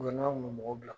U bɛ na kun bɛ mɔgɔ bila